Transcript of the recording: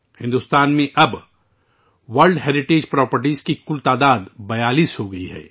بھارت میں عالمی ثقافتی ورثے کی جائیدادوں کی کل تعداد اب 42ہے